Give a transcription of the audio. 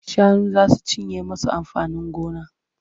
Shanu za su cinye musu amfanin gona.